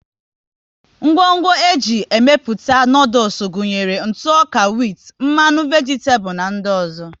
Ngwo ńgwọ e ji emepụta noodules gụnyere ntụ ọka whit, mmanụ vegitabulu na ndị ọzọ